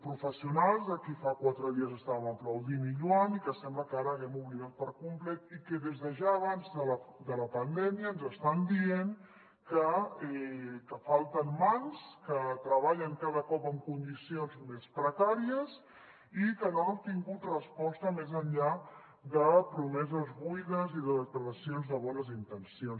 professionals a qui fa quatre dies estàvem aplaudint i lloant i que sembla que ara haguem oblidat per complet i que des de ja abans de la pandèmia ens estan dient que falten mans que treballen cada cop en condicions més precàries i que no han obtingut resposta més enllà de promeses buides i de declaracions de bones intencions